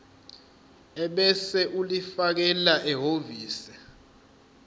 ebese ulifakela ehhovisi